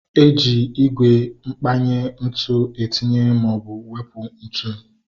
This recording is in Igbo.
Eji ígwè mkpanye ntụ etinye maọbụ wepụ ntụ